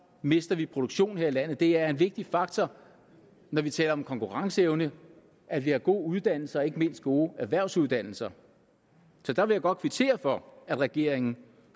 mister vi produktion her i landet det er en vigtig faktor når vi taler om konkurrenceevne at vi har gode uddannelser ikke mindst gode erhvervsuddannelser så der vil jeg godt kvittere for at regeringen